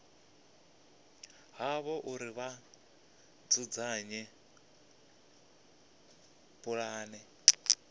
havho uri vha dzudzanye pulane